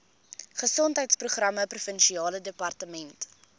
gesondheidsprogramme provinsiale departement